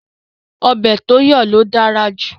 Ọbẹ̀ tó yọ̀ ló dára jù